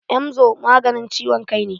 Emzor maganin ciwon kai ne.